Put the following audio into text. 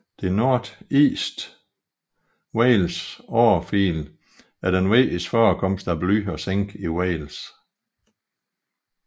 Det Northeast Wales Orefield er den vigtigste forekomst af bly og zink i Wales